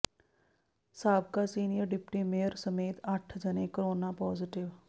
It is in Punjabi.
ਸਾਬਕਾ ਸੀਨੀਅਰ ਡਿਪਟੀ ਮੇਅਰ ਸਮੇਤ ਅੱਠ ਜਣੇ ਕਰੋਨਾ ਪੋਜ਼ਟਿਵ